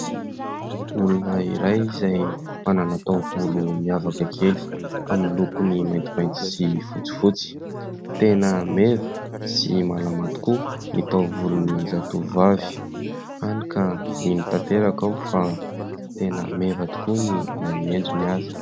Olona iray izay manana taovolo miavaka kely amin'ny lokony maintimainty sy fotsifotsy. Tena meva sy malama tokoa ny taovolon'i zatovovavy. Hany ka mino tanteraka aho fa tena meva tokoa na ny endriny aza.